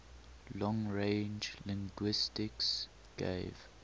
long range linguistics gave